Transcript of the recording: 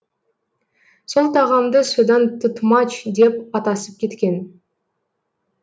сол тағамды содан тұтмач деп атасып кеткен